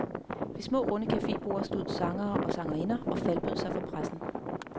Ved små runde caféborde stod sangere og sangerinder og faldbød sig for pressen.